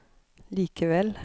likevel